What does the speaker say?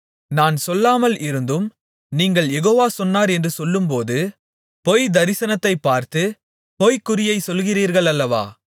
நான் சொல்லாமல் இருந்தும் நீங்கள் யெகோவா சொன்னார் என்று சொல்லும்போது பொய் தரிசனத்தைப் பார்த்து பொய்க்குறியைச் சொல்லுகிறீர்கள் அல்லவா